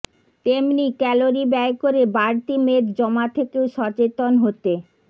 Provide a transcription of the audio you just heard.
তেমনি ক্যালরি ব্যয় করে বাড়তি মেদ জমা থেকেও সচেতন হতে